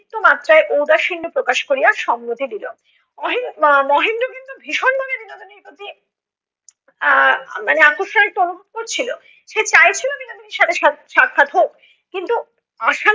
অতিরিক্ত মাত্রায় ঔদাসীন্য প্রকাশ করিয়া সম্মতি দিল, অহে~ আহ মহেন্দ্র কিন্তু ভীষণ ভাবে বিনোদিনীর প্রতি আহ মানে আকর্ষণ একটু অনুভব করছিল। সে চাইছিল বিনোদিনীর সাথে সাক্ষাৎ হোক, কিন্তু আশা